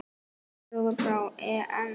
Noregur fer á EM.